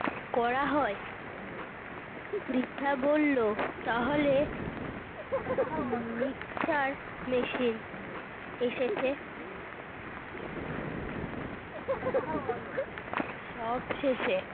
করা হয়। পৃথা বলল, তাহলে মিকশ্চার মেশিন এসেছে সবশেষে।